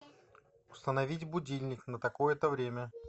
установить будильник на такое то время